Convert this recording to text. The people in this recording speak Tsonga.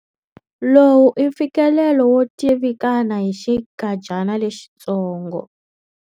Lowu i mfikelelo wo tivikana hi xinkadyana lexitsongo.